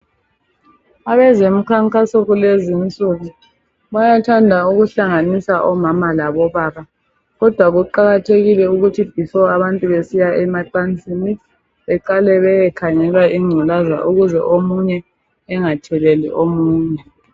Abezomkhankaso kulezi insuku bayathanda ukuhlanganisa omama labobaba. Kodwa kuqakathekile ukuthi nxa abantu besiya emacansini beqale beyekhangelwa ingculaza ukuze omunye engatheleli omunye.